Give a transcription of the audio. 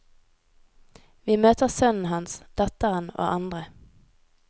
Vi møter sønnen hans, datteren og andre.